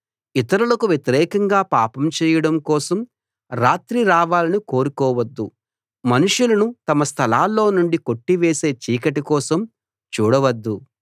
ఇతరులకు వ్యతిరేకంగా పాపం చేయడం కోసం రాత్రి రావాలని కోరుకోవద్దు మనుషులను తమ స్థలాల్లో నుండి కొట్టివేసే చీకటి కోసం చూడవద్దు